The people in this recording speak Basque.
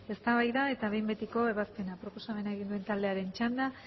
eztabaida eta behin betiko ebazpena